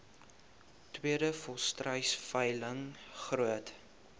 tweede volstruisveiling groot